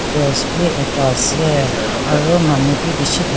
cross bi ekta ase aru manu bi bishi thak.